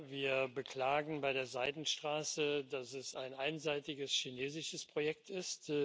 Wir beklagen bei der Seidenstraße, dass es ein einseitiges chinesisches Projekt ist.